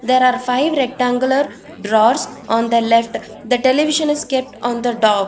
there are five rectangular drawers on the left the television is kept on the dob .